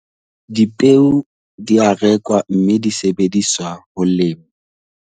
Dipeo di a rekwa mme di sebediswa ho lema.